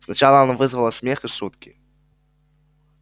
сначала она вызвала смех и шутки